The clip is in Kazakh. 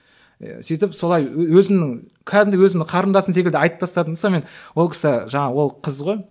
ы сөйтіп солай өзімнің кәдімгідей өзімнің қарындасым секілді айтып тастадым да сонымен ол кісі жаңағы ол қыз ғой